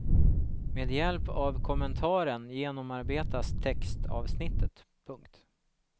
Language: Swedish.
Med hjälp av kommentaren genomarbetas textavsnittet. punkt